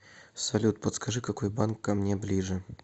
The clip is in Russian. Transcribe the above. салют подскажи какой банк ко мне ближе